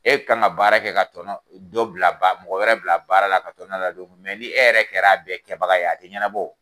E min kan ka baara kɛ ka tɔnɔ dɔ bila ba mɔgɔ wɛrɛ bila baara la ka tɔnɔ ladon mɛ ni e yɛrɛ kɛra a bɛɛ kɛbaga ye a tɛ ɲɛnabɔ o.